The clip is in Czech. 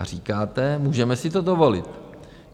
A říkáte, můžeme si to dovolit.